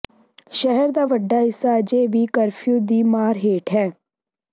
ਸ਼ਹਿਰ ਦਾ ਵੱਡਾ ਹਿੱਸਾ ਅਜੇ ਵੀ ਕਰਫਿਊ ਦੀ ਮਾਰ ਹੇਠ ਹੈ